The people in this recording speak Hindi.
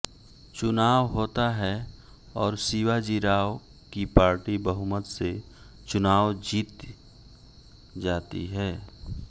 चुनाव होता है और शिवाजीराव की पार्टी बहुमत से चुनाव जीत जाती है